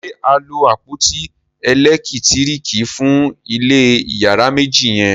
ṣe a lo àpótí elekitiriki fun ilé iyàrá méjì yen?